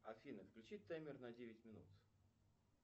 афина включи таймер на девять минут